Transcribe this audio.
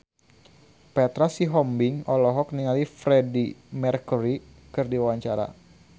Petra Sihombing olohok ningali Freedie Mercury keur diwawancara